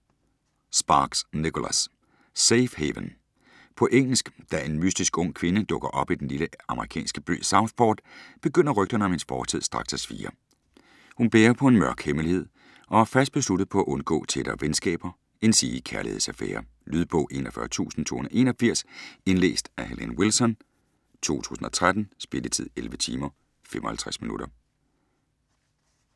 Sparks, Nicholas: Safe haven På engelsk. Da en mystisk ung kvinde dukker op i den lille amerikanske by Southport, begynder rygterne om hendes fortid straks at svirre. Hun bærer på en mørk hemmelighed og er fast besluttet på at undgå tættere venskaber endsige kærlighedsaffærer. Lydbog 41281 Indlæst af Helene Wilson, 2013. Spilletid: 11 timer, 55 minutter.